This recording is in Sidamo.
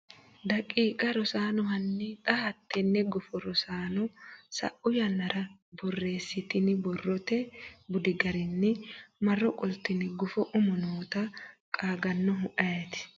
daqiiqa Rosaano hanni xa hattenne gufo Rosaano sa’u yannara borreessitini borrote budi garinni marro qoltine gufo umo noota qaagannohu ayeeti?